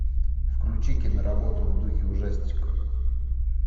включи киноработу в духе ужастика